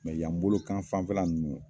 y'an bolokan fanfɛla ninnu